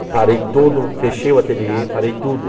Eu parei tudo, fechei o ateliê, parei tudo.